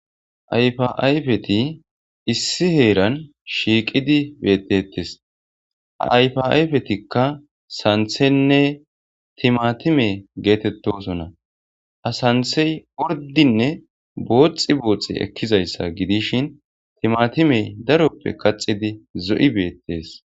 Ayfaayfeti issi heeran shiiqidi beeththeeththes;ayfaayfeththikka sanththenne thimaathime geetheththoosona;ha sanththee orddinne bootstsi bootstsi ekkizayssa gidishin thimaathime daroppe kaththidi zo7i beeththees.